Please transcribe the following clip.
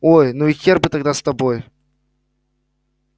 ой ну и хер бы тогда с тобой